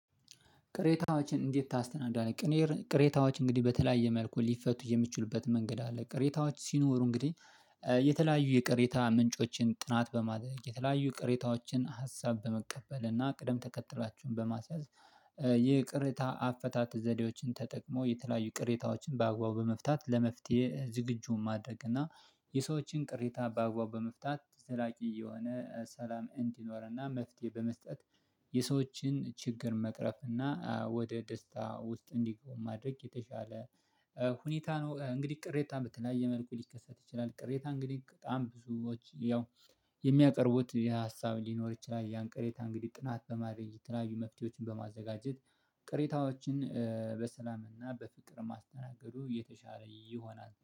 ቅሬታዎችን እንዴት ታስተናግዳለህ? ቅሬታዎች እንግዲህ በተለያየ መልኩ ሊፈቱ የሚችሉበት መንገድ አለ። ቅሬታዎች ሲኖሩ እንግዲህ የተለያዩ የቅሬታ ምንጮችን ጥናት በማድረግ የተለያዩ የቅሬታዎችን ሀሳብ በመቀበል እና ቅደም ተከትላችሁን በማስያዝ ይቅርታ አፈታት ዘዴዎችን ተጠቅሞ የተለያዩ ቅሬታዎችን በአግባቡ በመፍታት ለመፍትሄ ዝግጁ ማድረግ እና የሰዎችን ቅሬታ በአግባቡ በመፍታት ዘላቂ የሆነ ሰላም እንዲኖርና መፍትሄ በመስጠት የሰዎችን ችግር መቅረፍ እና ወደ ደስታ ውስጥ እንዲገቡ ማድረግ የተሻለ ሁኔታ ነው። እንግዲህ ቅሬታ በተለያየ መልኩ ሊከሰት ይችላል። ቅሬታ እንግዲህ በጣም ብዙዎች ያው የሚያቀርቡት የሀሳብ ሊኖር ይችላል። ያን ቅሬታ እንግዲህ ጥናት በማረጋገጥ ትናንሽ መፍትሄዎችን በማዘጋጀት ቅሬታዎችን በሰላምና በፍቅር ማስተናገዱ የተሻለ ይሆናል